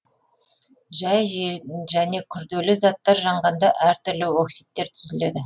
жай және күрделі заттар жанғанда әртүрлі оксидтер түзіледі